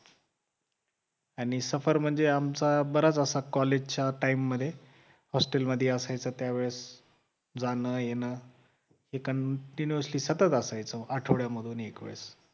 आणि सफर म्हणजे आमचा बराच असा college च्या time मध्ये hostel मध्ये असायचं त्यावेळेस जाणं-येणं हे continuity सतत असायचं आठवड्या मधून एक वेळेस